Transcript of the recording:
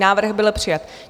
Návrh byl přijat.